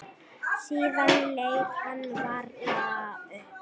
Síðan leit hann varlega upp.